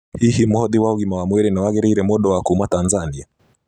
Hihi Mũhothi wa Ũgima wa Mwĩrĩ nĩ wagĩrĩire mũndũ wa kuuma Tanzania?